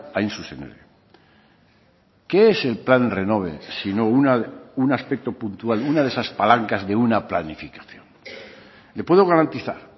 hain zuzen ere qué es el plan renove sino un aspecto puntual una de esas palancas de una planificación le puedo garantizar